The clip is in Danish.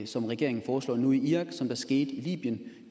som regeringen foreslår nu i irak som der skete i libyen